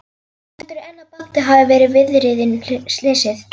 Heldurðu enn að Baddi hafi verið viðriðinn slysið?